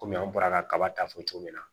Kɔmi an bɔra kaba ta fɔ cogo min na